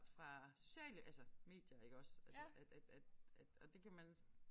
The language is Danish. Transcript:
Fra sociale altså medier iggås altså at at at at og det kan man